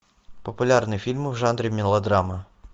популярные фильмы в жанре мелодрама